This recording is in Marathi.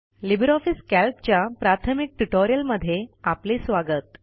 लिबर ऑफिस कॅल्कच्या प्राथमिक ट्युटोरियलमध्ये आपले स्वागत